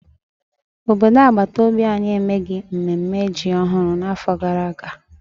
Obodo agbataobi anyị emeghị mnemme ji ọhụrụ n'afọ gara aga.